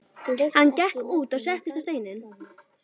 Hann gekk út og settist á stein.